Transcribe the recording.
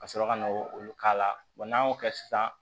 Ka sɔrɔ ka na olu k'a la n'an y'o kɛ sisan